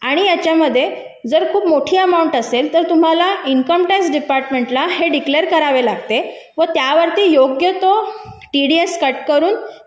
आणि याच्यामध्ये जर खूप मोठी अमाऊंट असेल तर तुम्हाला इन्कम टॅक्स डिपार्टमेंट ला हे डिक्लेअर करावे लागते व त्यावरती योग्य कट टी डी एस करून